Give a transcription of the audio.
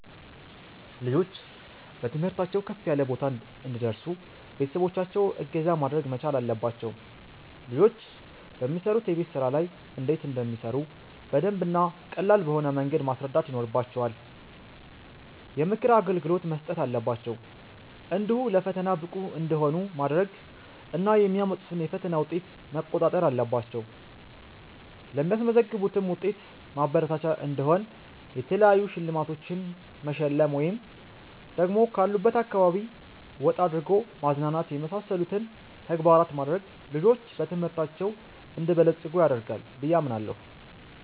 ልጆች በትምህርታቸው ከፍ ያለ ቦታ እንዲደርሱ ቤተሰቦቻቸው እገዛ ማድረግ መቻል አለባቸው ልጆች በሚሰሩት የቤት ስራ ላይ እንዴት እንደሚሰሩ በደንብ እና ቀላል በሆነ መንገድ ማስረዳት ይኖርባቸዋል፣ የምክር አገልግሎት መስጠት አለባቸው፣ እንዲሁ ለፈተና ብቁ እንዲሆኑ ማድረግ እና የሚያመጡትን የፈተና ዉጤት መቋጣጠር አለባቸው ለሚያስመዘግቡትም ዉጤት ማበረታቻ እንዲሆን የተለያዩ ሽልማቶቺን መሸለም ወይ ደግሞ ካሉበት አካባቢ ወጣ አድርጎ ማዝናናት የመሳሰሉትን ተግባራት ማድረግ ልጆች በትምህርታቸው እንዲበለፅጉ ያደርጋል ብየ አምናለሁ